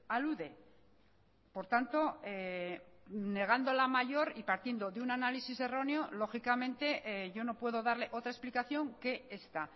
alude por tanto negando la mayor y partiendo de un análisis erróneo lógicamente yo no puedo darle otra explicación que esta